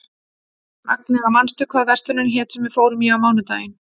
Agnea, manstu hvað verslunin hét sem við fórum í á mánudaginn?